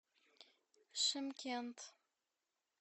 шымкент